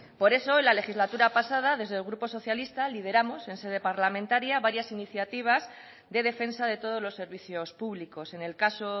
por eso en la legislatura pasada desde el grupo socialista lideramos en sede parlamentaria varias iniciativas de defensa de todos los servicios públicos en el caso